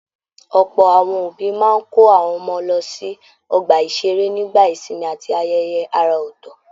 Ọ̀pọ̀ àwọn òbí máa n kó àwọn ọmọ wọn lọ sí ọgbà-ìṣeré nígbà ìsinmi àti ayẹyẹ àrà ọtọ.